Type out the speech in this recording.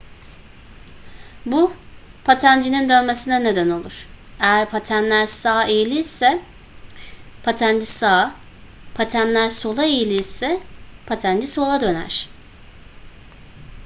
bu patencinin dönmesine neden olur eğer patenler sağ eğilirse patenci sağa patenler sola eğilirse patenci sola döner